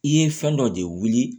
I ye fɛn dɔ de wuli